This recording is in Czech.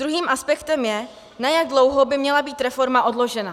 Druhým aspektem je, na jak dlouho by měla být reforma odložena.